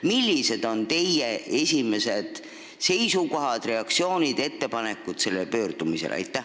Millised on teie esimesed seisukohad, reaktsioonid ja ettepanekud pärast seda pöördumist?